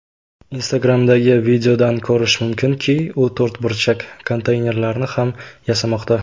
Instagram’dagi videodan ko‘rish mumkinki, u to‘rtburchak konteynerlarni ham yasamoqda.